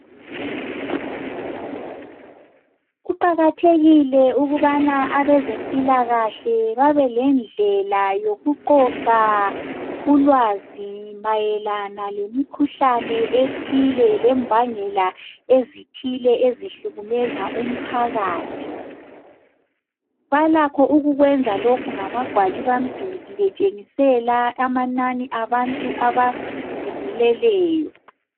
Kuqakathekile ukubana abezempilakahle babe lendlela yokuqoqa ulwazi mayelana lemikhuhlane ethile lembangela ezithile ezihlukumeza umphakathi. Balakho ukukwenza lokhu ngamagwalibamduli betshengisela amanani abantu abazibuleleyo.